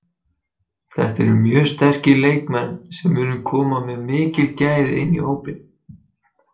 Þetta eru mjög sterkir leikmenn sem munu koma með mikil gæði inn í hópinn.